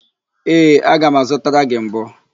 Ee, aga m azụtara gị mbọ.